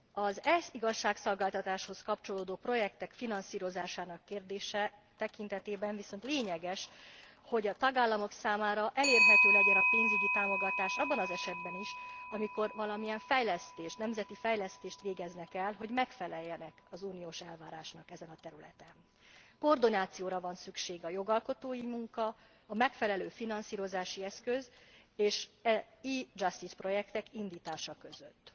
Az e igazságszolgáltatáshoz kapcsolódó projektek finanszírozásának kérdése tekintetében viszont lényeges, hogy a tagállamok számára elérhető legyen a pénzügyi támogatás abban az esetben is, amikor valamilyen fejlesztést, nemzeti fejlesztést végeznek el, hogy megfeleljenek az uniós elvárásának ezen a területen. Koordinációra van szükség a jogalkotói munka, a megfelelő finanszírozási eszköz és az e Justice projektek indítása között.